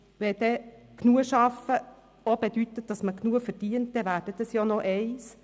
Wenn «genug Arbeiten» auch bedeutet, dass man genügend verdient, dann wäre das noch das Eine.